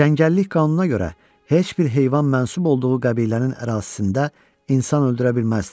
Cəngəllik qanununa görə heç bir heyvan mənsub olduğu qəbilənin ərazisində insan öldürə bilməzdi.